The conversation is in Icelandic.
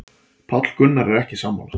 Páll Gunnar er ekki sammála.